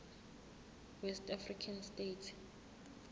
west african states